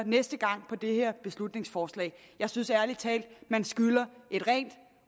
næste gang på det her beslutningsforslag jeg synes ærlig talt man skylder et rent